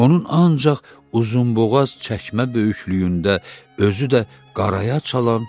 Onun ancaq uzunboğaz çəkmə böyüklüyündə, özü də qaraya çalan